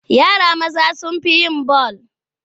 Yara maza sun fi yin bal.